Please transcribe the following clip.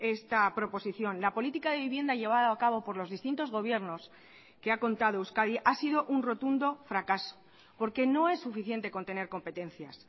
esta proposición la política de vivienda llevada a cabo por los distintos gobiernos que ha contado euskadi ha sido un rotundo fracaso porque no es suficiente con tener competencias